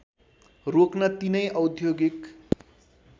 रोक्न तिनै औद्योगिक